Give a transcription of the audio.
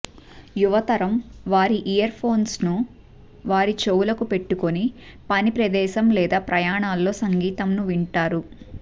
యువ తరం వారి ఇయర్ఫోన్స్ వారి చెవులకు పెట్టుకొని పని ప్రదేశం లేదా ప్రయాణాల్లో సంగీతంను వింటారు